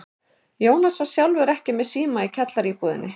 Jónas var sjálfur ekki með síma í kjallaraíbúðinni.